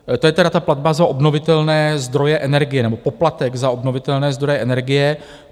To je tedy ta platba za obnovitelné zdroje energie nebo poplatek za obnovitelné zdroje energie.